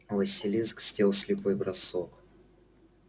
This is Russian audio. василиск сделал слепой бросок